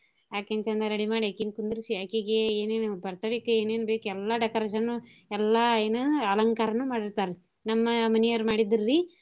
ಅಕಿನ್ ಚಂದಗ ready ಮಾಡಿ ಅಕಿನ್ ಕುಂದ್ರಿಸಿ ಅಕಿಗೆ ಏನೇನ್ birthday ಕ ಏನೇನ್ ಬೇಕ್ ಎಲ್ಲಾ decoration ಎಲ್ಲಾ ಏನು ಅಲಂಕಾರಾನೂ ಮಾಡಿರ್ತಾರಿ ನಮ್ಮ ಮನೀಯರ್ ಮಾಡಿದ್ದ್ರಿ.